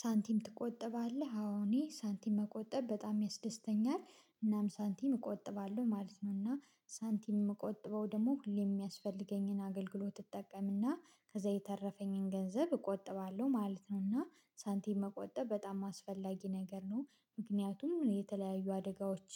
ሳንቲም ትቆጥባለህ አዎ እኔ ሳንቲም መቆጠብ በጣም ያስደስተኛል። እናም ሳንቲም እቆጥባለሁ ማለት ነው። እና ሳንቲም ምቆጥበው ደግሞ ሁሌ የሚያስፈልገኝን አገልግሎት እጠቀምና ከዛ የተረፈኝን ገንዘብ እቆጥባለሁ። ማለት ነውና ሳንቲም መቆጠብ በጣም አስፈላጊ ነገር ነው። ምክንያቱም የተለያዩ አደጋዎች